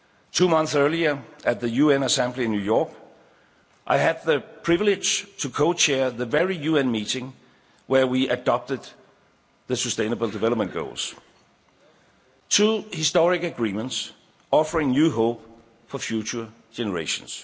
Two months earlier, at the UN Assembly in New York, I had the privilege to co chair the very UN meeting where we adopted the Sustainable Development Goals. These are two historic agreements offering new hope for future generations.